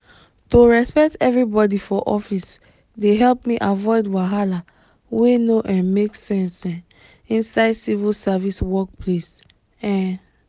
to respect everybody for office dey help me avoid wahala wey no um make sense um inside civil service work place. um